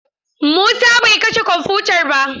Musa bai kashe kwamfutar ba.